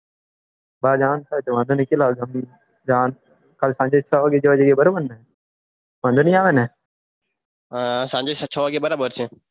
તાર જવાનું થાય તો વાંઘો ની કેટલા વાગે જવાનું કાલ સાંજે છ વાગે જવાનું બરાબર ને વાંઘો ની આવે ને સાંજે છ વાગે બરાબર છે